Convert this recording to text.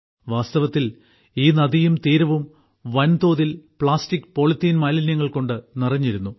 വാസ്തവത്തിൽ ഈ നദിയും തീരവും വൻതോതിൽ പ്ലാസ്റ്റിക് പോളിത്തീൻ മാലിന്യങ്ങൾ കൊണ്ട് നിറഞ്ഞിരുന്നു